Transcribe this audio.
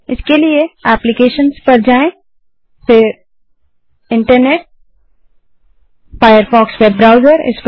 इसके लिए एप्लीकेशंस पर जाएँ फिर internet gt Firefox web browser